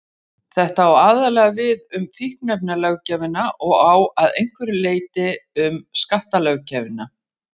Þetta á aðallega við um fíkniefnalöggjöfina og að einhverju leyti um skattalöggjöfina.